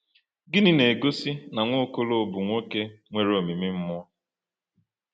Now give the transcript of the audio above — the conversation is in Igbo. Gịnị na-egosi na Nwaokolo bụ nwoke nwere omimi mmụọ?